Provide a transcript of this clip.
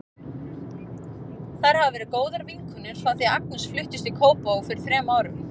Þær hafa verið góðar vinkonur frá því að Agnes fluttist í Kópavog fyrir þrem árum.